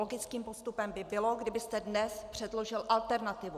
Logickým postupem by bylo, kdybyste dnes předložil alternativu.